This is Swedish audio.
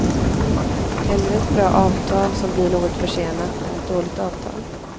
Hellre ett bra avtal som blir något försenat, än ett dåligt avtal.